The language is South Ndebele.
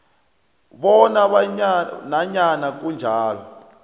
bona nanyana kunjalo